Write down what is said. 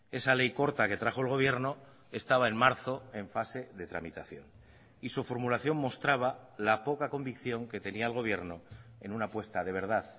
esa ley corta que trajo el gobierno estaba en marzo en fase de tramitación y su formulación mostraba la poca convicción que tenía el gobierno en una apuesta de verdad